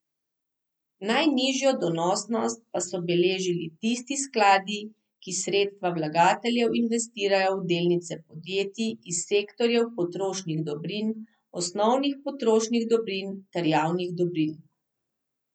Najnižjo donosnost pa so beležili tisti skladi, ki sredstva vlagateljev investirajo v delnice podjetij iz sektorjev potrošnih dobrin, osnovnih potrošnih dobrin ter javnih dobrin.